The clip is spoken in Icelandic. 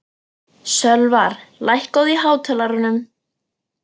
Sölvar, lækkaðu í hátalaranum.